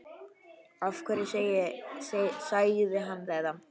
Af hverju sagði hann þetta?